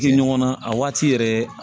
Kɛ ɲɔgɔn na a waati yɛrɛ